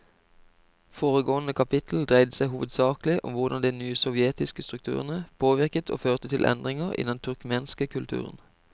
Foregående kapittel dreide seg hovedsakelig om hvordan de nye sovjetiske strukturene påvirket og førte til endringer i den turkmenske kulturen.